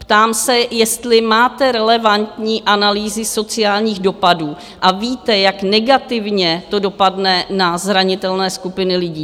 Ptám se, jestli máte relevantní analýzy sociálních dopadů a víte, jak negativně to dopadne na zranitelné skupiny lidí.